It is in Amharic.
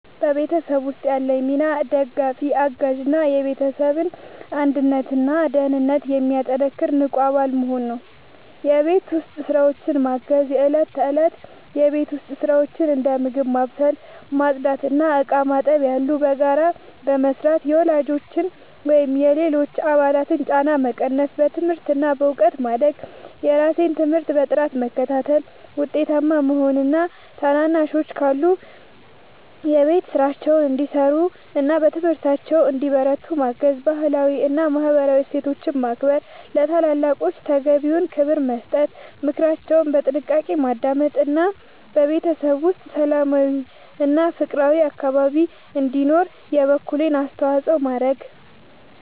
በቤተሰብ ውስጥ ያለኝ ሚና ደጋፊ፣ አጋዥ እና የቤተሰብን አንድነትና ደህንነት የሚያጠናክር ንቁ አባል መሆን ነው። የቤት ውስጥ ስራዎችን ማገዝ፦ የእለት ተእለት የቤት ውስጥ ስራዎችን (እንደ ምግብ ማብሰል፣ ማጽዳት እና ዕቃ ማጠብ ያሉ) በጋራ በመስራት የወላጆችን ወይም የሌሎች አባላትን ጫና መቀነስ። በትምህርት እና በእውቀት ማደግ፦ የራሴን ትምህርት በጥራት በመከታተል ውጤታማ መሆን እና ታናናሾች ካሉ የቤት ስራቸውን እንዲሰሩና በትምህርታቸው እንዲበረቱ ማገዝ። ባህላዊ እና ማህበራዊ እሴቶችን ማክበር፦ ለታላላቆች ተገቢውን ክብር መስጠት፣ ምክራቸውን በጥንቃቄ ማዳመጥ እና በቤተሰብ ውስጥ ሰላማዊና ፍቅራዊ አካባቢ እንዲኖር የበኩሌን አስተዋጽኦ ማድረግ።